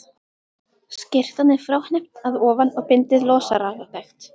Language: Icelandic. Skyrtan er fráhneppt að ofan og bindið losaralegt.